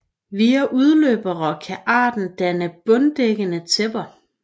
Via udløbere kan arten danne bunddækkende tæpper